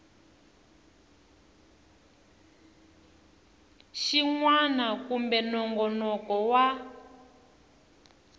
xin wana kumbe nongonoko wa